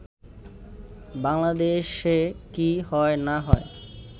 “বাংলাদেশে কি হয় না হয়